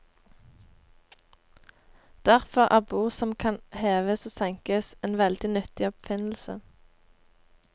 Derfor er bord som kan heves og senkes en veldig nyttig oppfinnelse.